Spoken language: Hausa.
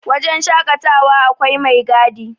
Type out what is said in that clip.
wajen shaƙatawa akwai mai gadi